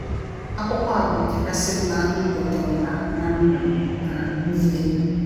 akwụkwọ a bụ nke kasị mma m gụtụrụla ná ndụ m um nile.